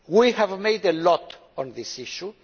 We have done a lot on this issue.